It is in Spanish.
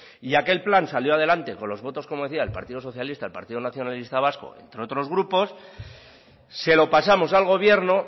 y aquel plan salió adelante con los votos como decía del partido socialista y el partido nacionalista vasco entre otros grupos se lo pasamos al gobierno